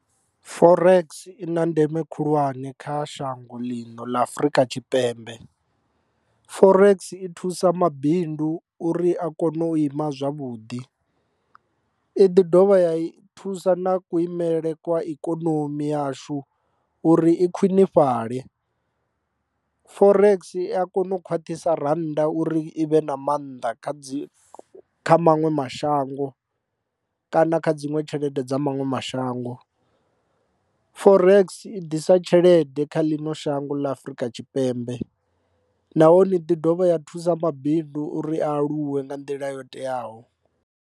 Forex i na ndeme khulwane kha shango ḽino ḽa Afurika Tshipembe forex i thusa mabindu uri a kone u ima zwavhuḓi i ḓi dovha ya thusa na kulimele kwa ikonomi yashu uri i khwinifhale. Forex i a kona u khwaṱhisa rannda uri i vhe na maanḓa kha dzi kha maṅwe mashango na kha dziṅwe tshelede dza maṅwe mashango. Forex i ḓisa tshelede kha ḽino shango ḽa Afrika Tshipembe nahone i ḓi dovha ya thusa mabindu uri a aluwe nga nḓila yo teaho.